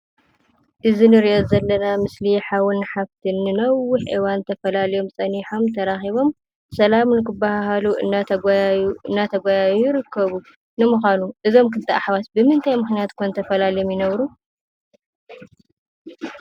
እዚ እንሪኦ ዘለና ምስሊ ሓውን ሓፍትን “ንነዊሕ እዋን” ተፈላልዮም ፀኒሖም፤ ተራኪቦም ሰላም ንክበሃሃሉ እናተጓየዩ ይርከቡ፡፡ ንምኳኑ እዞም ክልተ አሕዋት ብምንታይ ምክንያት ኾን ተፈላልዮም ይነብሩ?